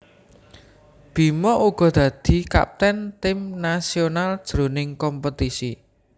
Bima uga dadi kapten tim nasional jroning kompetisi